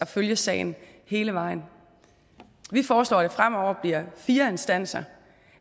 følge sagen hele vejen vi foreslår at det fremover bliver fire instanser